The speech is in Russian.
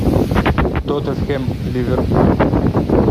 тоттенхэм ливерпуль